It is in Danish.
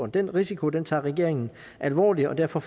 den risiko tager regeringen alvorligt og derfor